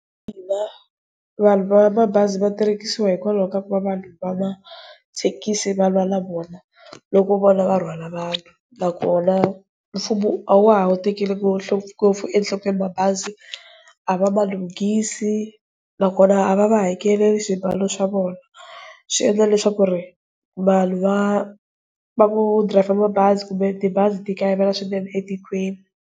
Mina vanhu va mabazi va terekisiwa hikwalaho ka ku va vanhu va mathekisi va lwa na vona loko vona va rhwala vanhu. Nakona mfumo a wa ha tekeli ngopfu enhlokweni mabazi a va ma lunghisile nakona a va va hakeleli swibalo swa vona, swi endla leswaku ku ri vanhu va vo driver mabazi kumbe tibazi ti kayivela swinene etikweni.